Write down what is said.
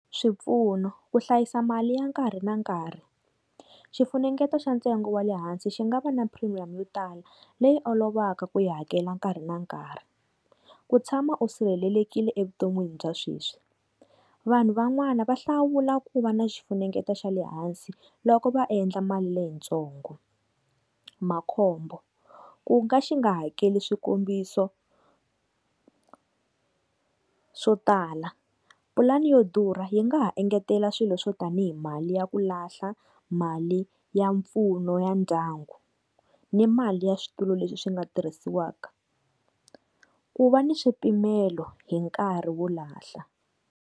Swipfuno, ku hlayisa mali ya nkarhi na nkarhi xifunengeto xa ntsengo wa le hansi xi nga va na premium yo tala leyi olovaka ku yi hakela nkarhi na nkarhi. Ku tshama u sirhelelekile evuton'wini bya sweswi, vanhu van'wana va hlawula ku va na xifunengeto xa lehansi loko va endla mali leyi ntsongo. Makhombo, ku nga xi nga hakeli swikombiso swo tala pulani yo durha yi nga ha engetela swilo swo tanihi mali ya ku lahla, mali ya mpfuno ya ndyangu ni mali ya switulu leswi swi nga tirhisiwaka ku va ni swipimelo hi nkarhi wo lahla.